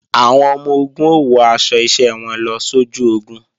Àwọn ọmọ-ogun ó wọ aṣọ iṣẹ́ wọn lọ sójú ogun